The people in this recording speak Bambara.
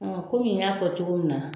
Kɔmi y'a fɔ cogo min na.